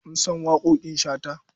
Mun san waƙoƙin shantu.